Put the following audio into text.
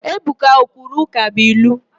Ebuka o kwuru ụkabụilu?